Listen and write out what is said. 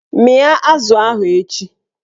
Mịa azụ ahụ echi!